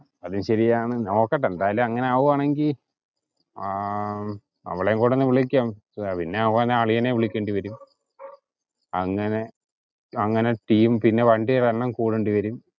അതും സെരിയാണ്‌, നോക്കട്ടെ എന്തായാലും അങ്ങാനാവുവാണെങ്കിൽ അവളേം കുടി ഒന്ന് വിളിക്കാം പിന്നെ ആവുവാണേൽ അളിയനേം വിളിക്കേണ്ടിവരും അങ്ങനെ Team പിന്നെ വണ്ടിയുടെ എണ്ണം കൂടേണ്ടി വരും